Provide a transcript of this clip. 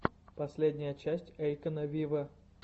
последняя часть эйкона виво